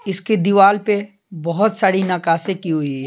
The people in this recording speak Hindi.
इसके दीवार पे बहुत सारी नकाशे की हुई है।